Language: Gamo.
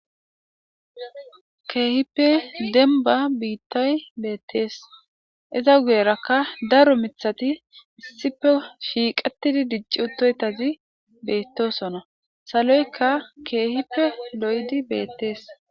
Kehipe demba bitay betes eta guyeraka daro mitati isipe shiqetidi dic'iutoytazi betosona saloyka kehipe lo'idi betes.